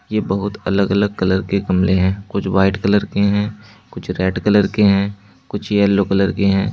ये बहुत अलग अलग कलर के गमले हैं कुछ वाइट कलर के हैं कुछ रेड कलर के हैं कुछ येलो कलर के हैं।